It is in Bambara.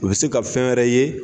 U bɛ se ka fɛn wɛrɛ ye.